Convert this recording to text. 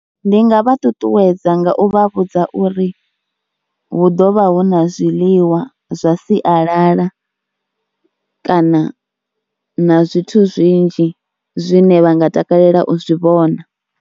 Ndi nga vha ṱuṱuwedza nga u vha vhudza uri hu ḓo vha hu na zwiḽiwa zwa sialala kana na zwithu zwinzhi zwine vha nga takalela u zwi vhona.